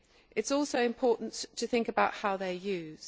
It is also important to think about how they are used.